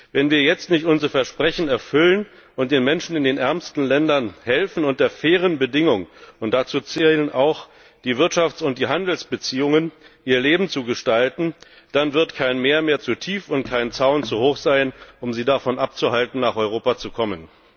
Wenn wir jetzt nicht unser Versprechen erfüllen und den Menschen in den ärmsten Ländern helfen, unter fairen Bedingungen und dazu zählen auch die Wirtschafts und die Handelsbeziehungen ihr Leben zu gestalten, dann wird kein Meer mehr zu tief und kein Zaun zu hoch sein, um sie davon abzuhalten, nach Europa zu kommen.